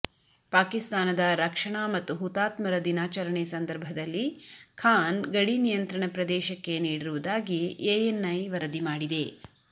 ಪಾಕಿಸ್ತಾನದ ರಕ್ಷಣಾ ಮತ್ತು ಹುತಾತ್ಮರ ದಿನಾಚರಣೆ ಸಂದರ್ಭದಲ್ಲಿ ಖಾನ್ ಗಡಿನಿಯಂತ್ರಣ ಪ್ರದೇಶಕ್ಕೆ ನೀಡಿರುವುದಾಗಿ ಎಎನ್ ಐ ವರದಿ ಮಾಡಿದೆ